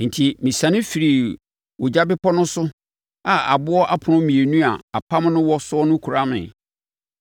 Enti, mesiane firii ogya bepɔ no so a aboɔ apono mmienu a apam no wɔ so no kura me.